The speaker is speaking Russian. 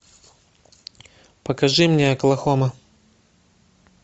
покажи мне оклахома